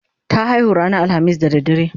ta haihu ranar alhamis da dare